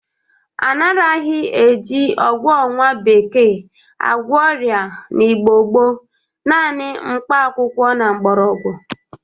A naraghị e ji ọgwọ nwa bekee agwọ ọrịa n'Igbo gboo, nanị mkpa akwụkwọ na mgbọrọgwọ.